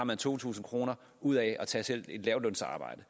to tusind kroner ud af at tage selv et lavtlønsarbejde